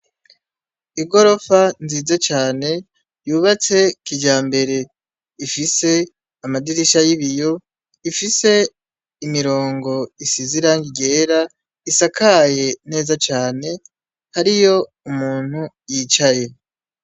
Igorofa nziza cane, yubatse kijambere, ifise Amadirisha y'ibiyo, ifise imirongo isize irangi ryera isakaye neza cane, hariyo umuntu yicaye.